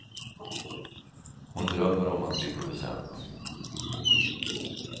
Hon drömmer om att bli producent.